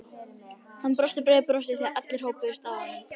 Hann brosti breiðu brosi þegar allir hópuðust að honum.